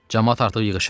Camaat artıq yığışır.